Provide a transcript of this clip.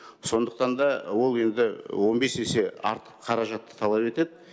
сондықтан да ол енді он бес есе артық қаражатты талап етеді